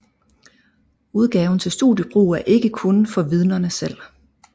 Udgaven til studiebrug er ikke kun for Vidnerne selv